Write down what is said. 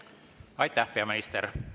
Aitäh, peaminister!